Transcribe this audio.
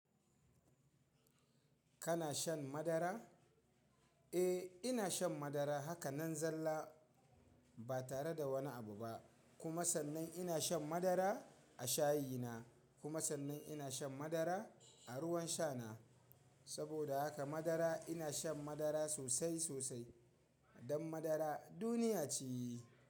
Kana shan madara? Eh, ina shan madara haka nan zalla ba tare da wani abu ba. Kuma sannan ina shan madara a shayi na. Kuma sannan ina shan madara a ruwan sha na. Saboda haka madara ina shan madara sosai sosai. Don madara duniya ce.